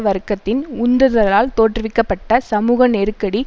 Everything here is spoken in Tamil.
வர்க்கத்தின் உந்துதலால் தோற்றுவிக்க பட்ட சமூக நெருக்கடி